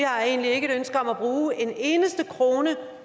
har egentlig ikke et ønske om at bruge en eneste krone